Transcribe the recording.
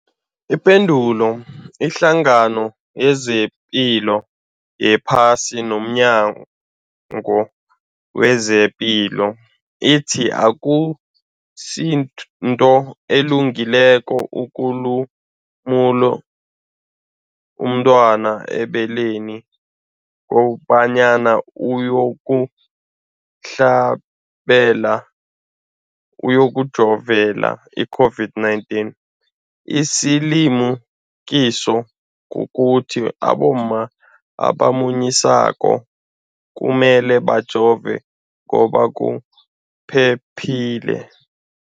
Ipendulo, iHlangano yezePilo yePhasi nomNyango wezePilo ithi akusinto elungileko ukulumula umntwana ebeleni kobanyana uyokuhlabela, uyokujovela i-COVID-19. Isilimukiso kukuthi abomma abamunyisako kumele bajove ngoba kuphephile.